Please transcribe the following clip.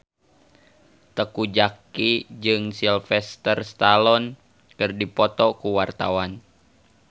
Teuku Zacky jeung Sylvester Stallone keur dipoto ku wartawan